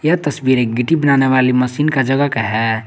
यह तस्वीर एक गिद्दी बनाने वाली मशीन का जगह का है।